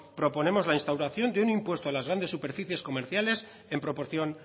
proponemos la instauración de un impuesto a las grandes superficies comerciales en proporción